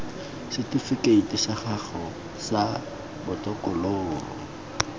setifikeiti sa gago sa botokololo